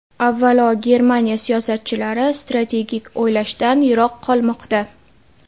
Avvalo, Germaniya siyosatchilari strategik o‘ylashdan yiroq qolmoqda.